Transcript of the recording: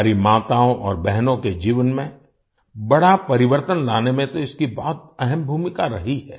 हमारी माताओं और बहनों के जीवन में बड़ा परिवर्तन लाने में तो इसकी बहुत अहम भूमिका रही है